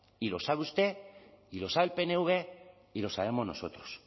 y lo sabe usted y lo sabe el pnv y lo sabemos nosotros